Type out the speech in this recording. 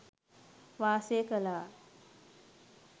වාසය කළා.